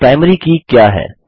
primary की क्या है